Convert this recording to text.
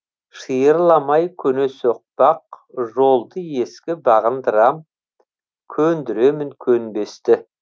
шиырламай көне соқпақ жолды ескі бағындырам көндіремін көнбесті